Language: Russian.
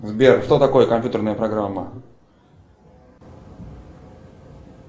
сбер что такое компьютерная программа